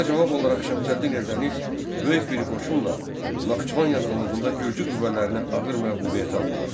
Buna cavab olaraq Şəmsəddin Eldəniz böyük bir qoşunla Naxçıvan yaxınlığında Gürcü qüvvələrini ağır məğlubiyyətə uğratdı.